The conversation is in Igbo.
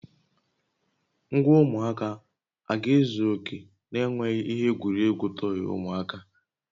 Ngwa ụmụaka a ga-ezu oke na-enweghị ihe egwuregwu tọyị ụmụaka?